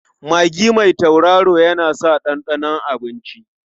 Magi mai tauraro yana sa ɗanɗanon abinci.